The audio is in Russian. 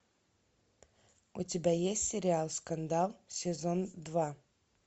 у тебя есть сериал скандал сезон два